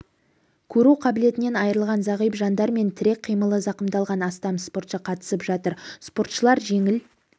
көру қабілетінен айрылған зағип жандар мен тірек қимылы замқымдалған астам спортшы қатысып жатыр спортшылар жеңіл